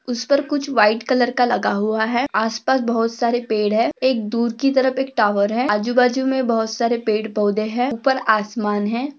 उसपर कुच्छ white colour का लगा हुआ है आसपास बहुत सारे पेड़ है एक दूर की तरफ एक टावर है अजूबाजुमे बहुत सारे पेड़ पौधे है उपर आसमान है।